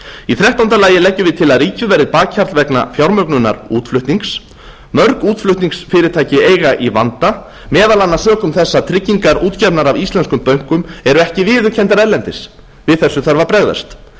í þrettánda lagi leggjum við til að ríkið verði bakhjarl vegna fjármögnunar útflutnings mörg útflutningsfyrirtæki eiga í vanda meðal annars sökum þess að tryggingar útgefnar af íslenskum bönkum eru ekki viðurkenndar erlendis við þessu þarf að bregðast